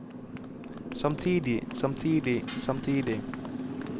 samtidig samtidig samtidig